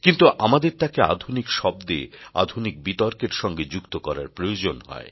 কিন্তু আমাদের তাকে আধুনিক শব্দে আধুনিক বিতর্কের সঙ্গে যুক্ত করার প্রয়োজন হয়